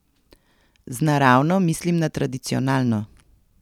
Z naravno mislim na tradicionalno.